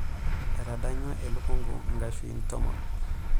Etadanyua elukunku nkashuin tomon.